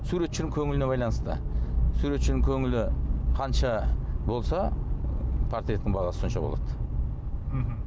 суретшінің көңіліне байланысты суретшінің көңілі қанша болса портреттің бағасы сонша болады мхм